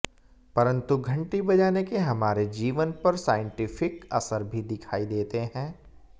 परंतु घंटी बजाने के हमारे जीवन पर साइंटिफिक असर भी दिखाई देते हैं